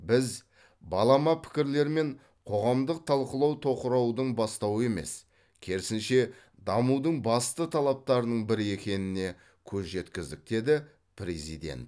біз балама пікірлер мен қоғамдық талқылау тоқыраудың бастауы емес керісінше дамудың басты талаптарының бірі екеніне көз жеткіздік деді президент